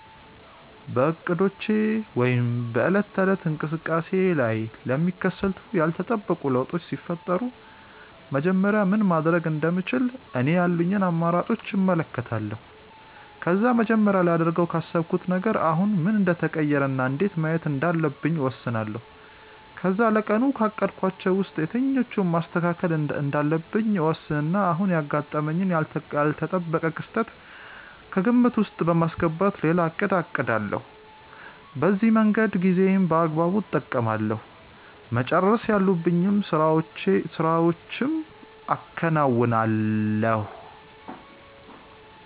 በእቅዶቼ ወይም በዕለት ተዕለት እንቅስቃሴዬ ላይ ለሚከሰቱ ያልተጠበቁ ለውጦች ሲፈጠሩ መጀመሪያ ምን ማድረግ እንደምችል እኔ ያሉኝን አማራጮች እመለከታለሁ። ከዛ መጀመሪያ ላደርገው ካሰብኩት ነገር አሁን ምን እንደተቀየረ እና እንዴት ማየት እንዳለብኝ እወስናለሁ። ከዛ ለቀኑ ካቀድኳቸው ውስጥ የትኞቹን ማስተካከል እንዳለብኝ እወስንና አሁን ያጋጠመኝን ያልተጠበቀ ክስተት ከግምት ውስጥ በማስገባት ሌላ እቅድ አቅዳለሁ። በዚህ መንገድ ጊዜዬን በአግባቡ እጠቀማለሁ፤ መጨረስ ያሉብኝን ስራዎችም አከናውናለሁ።